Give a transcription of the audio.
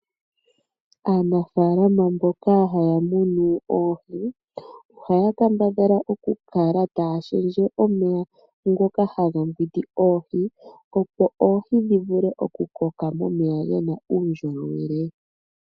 Aanafalama mboka haamunu oohi, ohaya kambadhala oku kala taashendje omeya ngoka haga piti oohi opo oohi dhikokele momeya muna uundjolowele.